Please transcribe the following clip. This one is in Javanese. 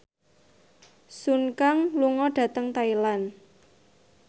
Sun Kang lunga dhateng Thailand